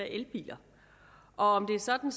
elbiler og om det er sådan